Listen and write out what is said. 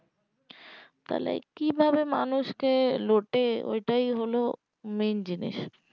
তাহলে কি ভাবে মানুষকে লোটে ওটাই হলো main জিনিস